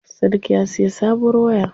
Sadik ya siya sabuwar waya.